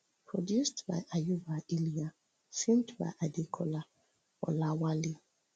produced by ayuba iliya filmed by adekola olawale